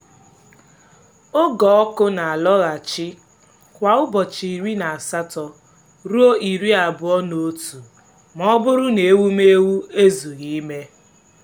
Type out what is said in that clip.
oge ọkụ na-alọghachi kwa ụbọchị iri na asatọ ruo iri abụọ na otu ma ọ bụrụ na ewumewụ ezughị ime.